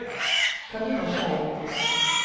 Carina Schei